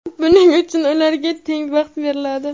buning uchun ularga teng vaqt beriladi.